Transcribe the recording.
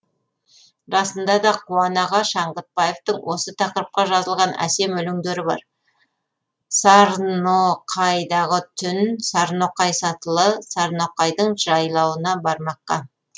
расында да қуан аға шаңғытбаевтың осы тақырыпқа жазылған әсем өлеңдері бар сарноқайдағы түн сарноқай сатылы сарноқайдың жайлауына бармаққа